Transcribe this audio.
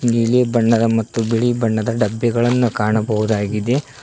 ನೀಲಿ ಬಣ್ಣದ ಮತ್ತು ಬಿಳಿ ಬಣ್ಣದ ಡಬ್ಬಿಗಳನ್ನ ಕಾಣಬಹುದಾಗಿದೆ.